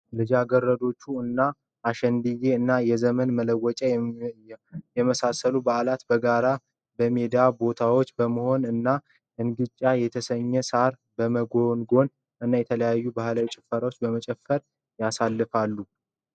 ልጃገረዶች እንደ አሸንድየ እና የዘመን መለወጫ የመሳሰሉ በዓላትን በጋራ በሜዳማ ቦታዎች በመሆን እና እንግጫ የተሰኘ ሳርን በመጎንጎን እና የተለያዩ ባህላዊ ጭፈራዎችን በመጨፈር ያሳልፋሉ።